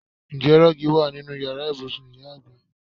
Ǹjẹ́ rọ́ọ́gì wa nínú Ìyàrá ibùsùn ìyá àgbà?